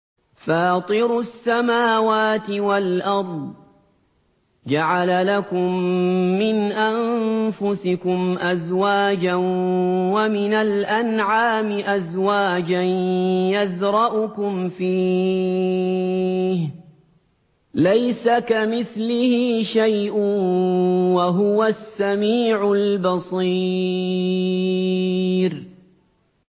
فَاطِرُ السَّمَاوَاتِ وَالْأَرْضِ ۚ جَعَلَ لَكُم مِّنْ أَنفُسِكُمْ أَزْوَاجًا وَمِنَ الْأَنْعَامِ أَزْوَاجًا ۖ يَذْرَؤُكُمْ فِيهِ ۚ لَيْسَ كَمِثْلِهِ شَيْءٌ ۖ وَهُوَ السَّمِيعُ الْبَصِيرُ